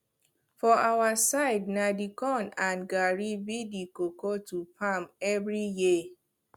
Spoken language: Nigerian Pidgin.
for our side na de corn and garri be the koko to farm every year